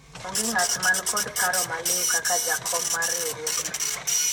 onge ng'at man kod paro maliwu kaka jakom mar riwruogno